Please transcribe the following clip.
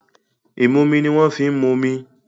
Ìmumi ni wọ́n ń fi momi.